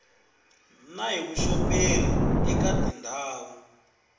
na hi vuxoperi eka tindhawu